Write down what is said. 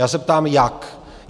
Já se ptám jak?